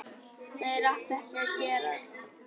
Þeir áttu ekki að gerast.